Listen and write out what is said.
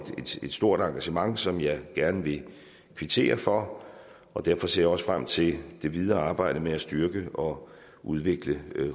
stort engagement som jeg gerne vil kvittere for derfor ser jeg også frem til det videre arbejde med at styrke og udvikle